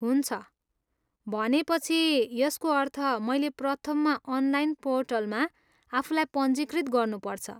हुन्छ! भनेपछि यसको अर्थ मैले प्रथममा अनलाइन पोर्टलमा आफूलाई पञ्जीकृत गर्नुपर्छ।